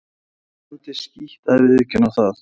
Og það er fjandi skítt að viðurkenna það.